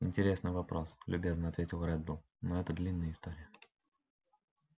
интересный вопрос любезно ответил реддл но это длинная история